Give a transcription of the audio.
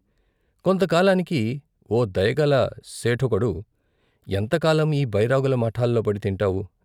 కొంతకాలానికి ఓ దయగల సేఠోకడు " ఎంతకాలం ఈ బై రాగుల ముఠాలోపడి తింటావు?